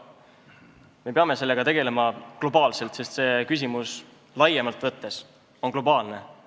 Me peame sellega tegelema globaalselt, sest see küsimus laiemalt võttes on globaalne.